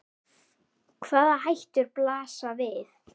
Hvaða hættur blasa við?